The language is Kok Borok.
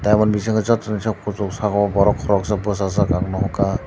omo ni bisingo joto ni soh kusuk saka o borok koroksa bwsajak ang nohoka.